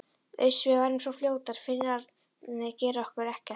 Uss, við verðum svo fljótar, Finnarnir gera okkur ekkert.